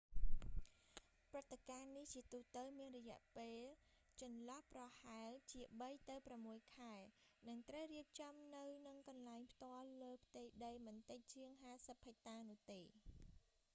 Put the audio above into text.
ព្រឹត្តិការណ៍នេះ ជាទូទៅមានរយៈពេលចន្លោះប្រហែលជាបីទៅប្រាំមួយខែ និងត្រូវរៀបចំនៅនឹងកន្លែងផ្ទាល់លើផ្ទៃដីមិនតិចជាង 50 ហិចតានោះទេ